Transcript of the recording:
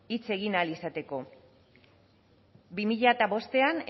hitz egin ahal izateko bi mila bostean